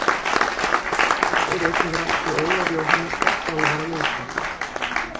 Þar er einnig rætt við Ólaf Jóhannesson þjálfara liðsins.